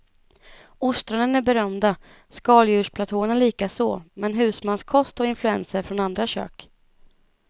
Ostronen är berömda, skaldjursplatåerna likaså men husmanskost och influenser från andra kök.